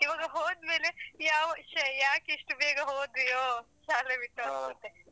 ಇವಾಗ ಹೋದ್ಮೇಲೆ ಯಾವ ಶೇ ಯಾಕೆ ಇಷ್ಟು ಬೇಗ ಹೊದ್ವಿಯೋ ಶಾಲೆ ಬಿಟ್ಟು .